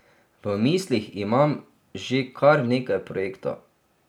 V mislih imam že kar nekaj projektov.